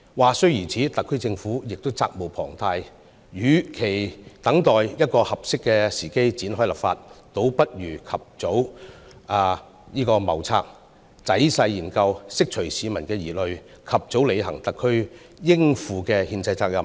話雖如此，特區政府亦責無旁貸，與其等待一個合適時機展開立法，倒不如及早謀策，仔細研究，釋除市民疑慮，及早履行特區應負的憲制責任。